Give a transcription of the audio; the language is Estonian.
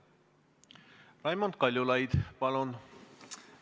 Raimond Kaljulaid, palun!